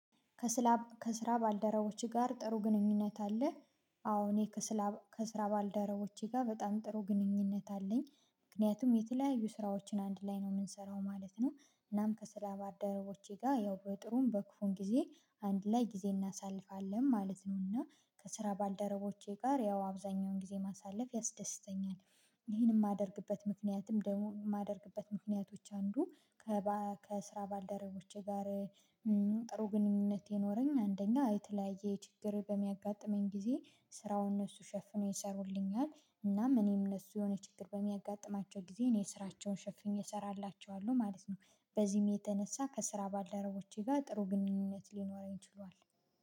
ከስራ ባልደረቦህ ጋር ጥሩ ግንኙነት አለህ? አዎ እኔ ከስራ ባልደረቦቼ ጋር በጣም ጥሩ ግንኙነት አለኝ። ምክንያቱም የተለያዩ ስራዎችን አንድ ላይ ነው የምንሰራው ማለት ነው። እናም ከስራ ባደረቦቼ ጋር ያው በጥሩም በክፉም ጊዜ አንድ ላይ ጊዜ እናሳልፋለን ማለት ነው። እና ከስራ ባልደረቦቼ ጋር ያው አብዛኛውን ጊዜ ማሳለፍ ያስደስተኛል። ይሄንን የማደርግበት ምክንያትም ደሞ የማደርግበት ምክንያቶች አንዱ ከስራ ባልደረቦቼ ጋር ጥሩ ግንኙነት የኖረኝ አንደኛ የተለያየ ችግር በሚያጋጥመኝ ጊዜ ስራውን እነሱ ሸፍነው ይሰሩልኛል። እናም እኔም እነሱ የሆነ ችግር በሚያጋጥማቸው ጊዜ እኔ ስራቸውን ሸፍኜ እሰራላችኋለሁ ማለት ነው። በዚህም የተነሳ ከስራ ባልደረቦቼ ጋር ጥሩ ግንኙነት ሊኖረኝ ይችላል